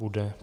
Bude.